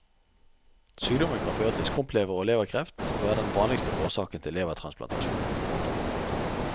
Sykdommen kan føre til skrumplever og leverkreft og er den vanligste årsaken til levertransplantasjon. punktum